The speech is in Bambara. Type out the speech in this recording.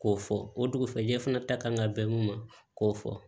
K'o fɔ o dugusajɛ fana ta kan ka bɛn mun ma k'o fɔ